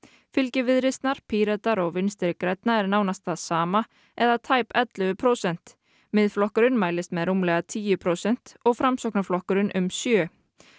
fylgi Viðreisnar Pírata og Vinstri grænna er nánast það sama eða tæp ellefu prósent Miðflokkurinn mælist með rúmlega tíu prósent og Framsóknarflokkurinn um sjö